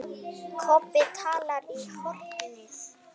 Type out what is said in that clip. Kobbi talaði í hornið.